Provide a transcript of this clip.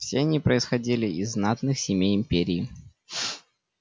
все они происходили из знатных семей империи